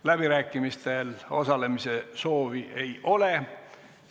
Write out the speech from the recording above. Läbirääkimistel osalemise soovi ei ole.